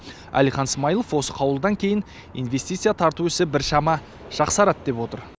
әлихан смайылов осы қаулыдан кейін инвестиция тарту ісі біршама жақсарады деп отыр